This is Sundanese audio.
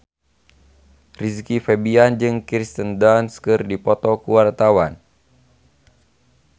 Rizky Febian jeung Kirsten Dunst keur dipoto ku wartawan